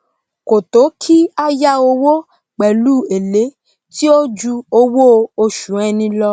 kò tó kí á yá owó pèlú èlé tí ó ju owó osù ẹni lọ